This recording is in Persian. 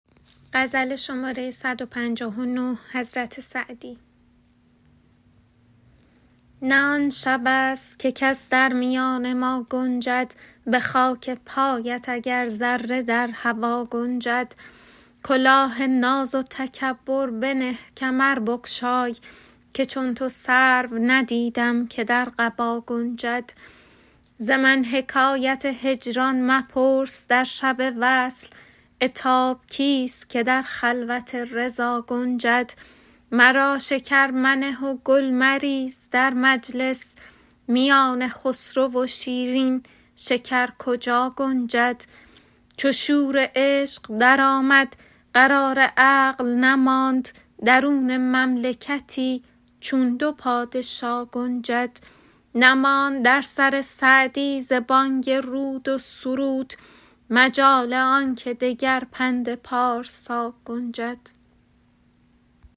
نه آن شبست که کس در میان ما گنجد به خاک پایت اگر ذره در هوا گنجد کلاه ناز و تکبر بنه کمر بگشای که چون تو سرو ندیدم که در قبا گنجد ز من حکایت هجران مپرس در شب وصل عتاب کیست که در خلوت رضا گنجد مرا شکر منه و گل مریز در مجلس میان خسرو و شیرین شکر کجا گنجد چو شور عشق درآمد قرار عقل نماند درون مملکتی چون دو پادشا گنجد نماند در سر سعدی ز بانگ رود و سرود مجال آن که دگر پند پارسا گنجد